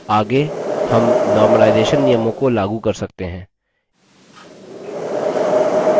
आगे हम normalization सामान्यकरण नियमों को लागू कर सकते हैं